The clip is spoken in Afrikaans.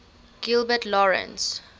gilbert lawrence